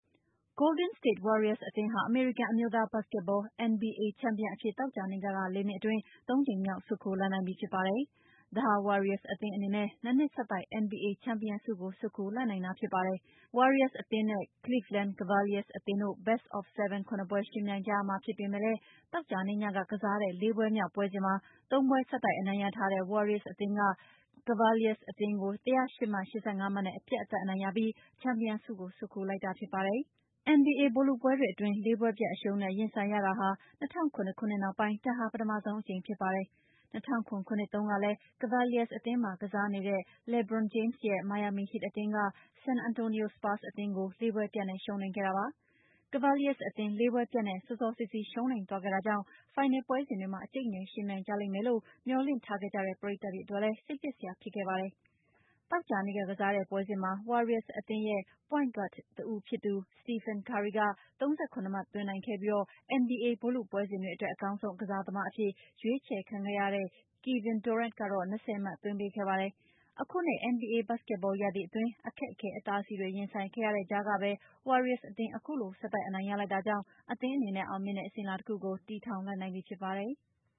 Golden State Warriors အသင်းဟာ အမေရိကန်အမျိုးသား ဘတ်စကက်ဘော NBA ချံပီယံအဖြစ် သောကြာနေ့ညက ၄ နှစ်အတွင်း ၃ ကြိမ်မြောက် ဆွတ်ခူးလိုက်နိုင်ပြီ ဖြစ်ပါတယ်။ ဒါဟာ Warriors အသင်းအနေနဲ့ ၂ နှစ်ဆက်တိုက် NBA ချံပီယံဆုကို ဆွတ်ခူးလိုက်နိုင်တာ ဖြစ်ပါတယ်။ Warriors အသင်းနဲ့ Cleveland Cavaliers အသင်းတို့ Best of Seven ၇ ပွဲ ယှဉ်ပြိုင်ကြရမှာ ဖြစ်ပေမယ့်လည်း သောကြာနေ့ညက ကစားတဲ့ ၄ ပွဲမြောက် ပွဲစဉ်မှာ ၃ ပွဲဆက်တိုက် အနိုင်ရထားတဲ့ Warriors အသင်းက Cavaliers အသင်းကို ၁၀၈ မှတ်၊ ၈၅ မှတ်နဲ့ အပြတ်အသတ် အနိုင်ရပြီး ချံပီယံဆုကို ဆွတ်ခူးလိုက်တာ ဖြစ်ပါတယ်။ NBA ဗိုလ်လုပွဲတွေအတွင်း ၄ ပွဲပြတ်အရှုံးနဲ့ ရင်ဆိုင်ရာတာ ၂၀၀၇ နှစ်နောက်ပိုင်းမှာ ဒါဟာ ပထမဆုံးကြိမ် ဖြစ်ပါတယ်။ ၂၀၀၇ ခုနှစ်တုန်းကလဲ အခု Cavaliers အသင်းမှာ ကစားနေတဲ့ LeBron James ရဲ့ Miami Heat အသင်းက San Antonio Spurs အသင်းကို ၄ ပွဲပြတ်နဲ့ ရှုံးနိမ့်ခဲ့တာပါ။ Cavaliers အသင်း ၄ ပွဲပြတ်နဲ့ စောစောစီးစီး ရှုံးနိမ့်သွားခဲ့တာကြောင့် ဖိုင်နယ် ပွဲစဉ်တွေမှာ အကြိတ်အနယ် ယှဉ်ပြိုင်ကြလိမ့်မယ်လို့ မျှော်လင့်ထားခဲ့ကြတဲ့ ပရိတ်သတ်တွေအတွက်လည်း စိတ်ပျက်စရာ ဖြစ်ခဲ့ပါတယ်။ သောကြာနေ့က ကစားတဲ့ ပွဲစဉ်မှာ Warriors အသင်းရဲ့ Point Guard တဦးဖြစ်သူ Stephen Curry က ၃၇ မှတ် သွင်းနိုင်ခဲ့ပြီး NBA ဗိုလ်လုပွဲစဉ်တွေအတွက် အကောင်းဆုံးကစားသမားအဖြစ် ရွေးချယ်ခံခဲ့ရတဲ့ Kevin Durant ကတော့ ၂၀ မှတ် သွင်းပေးခဲ့ပါတယ်။ အခုနှစ် NBA ဘတ်စကက်ဘော ရာသီအတွင်း အခက်ခဲ အတားဆီးတွေ ရင်ဆိုင်ခဲ့ရတဲ့ကြားကဘဲ Warriors အသင်း အခုလို ဆက်တိုက် အနိုင်ရလိုက်တာကြောင့် အသင်းအနေနဲ့ အောင်မြင်တဲ့ အစဉ်အလာတခုကို တည်ထောင်လိုက်နိုင်ပြီ ဖြစ်ပါတယ်။